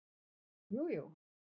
Jú, jú!